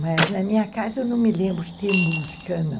Mas na minha casa eu não me lembro de ter música, não.